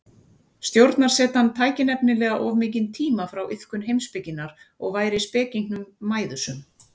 Stjórnarsetan tæki nefnilega of mikinn tíma frá iðkun heimspekinnar og væri spekingnum mæðusöm.